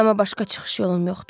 Amma başqa çıxış yolum yoxdur.